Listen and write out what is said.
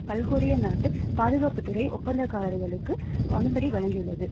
பல்கோரிய நாட்டு பாதுகாப்பு துறை ஒப்பந்தக்காரர்களுக்கு அனுமதி வழங்கியுள்ளது